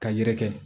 Ka yɛrɛkɛ